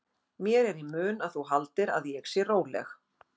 Mér er í mun að þú haldir að ég sé róleg.